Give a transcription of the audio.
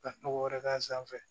Ka nɔgɔ wɛrɛ k'a sanfɛ